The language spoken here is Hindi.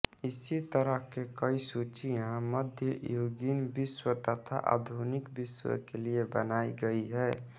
इसी तरह के कई सूचियाँ मध्ययुगीन विश्व तथा आधुनिक विश्व के लिए बनायीं गयीं है